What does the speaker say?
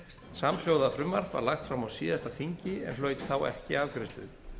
samhljóða frumvarp var lagt fram á síðasta þingi en hlaut þá ekki afgreiðslu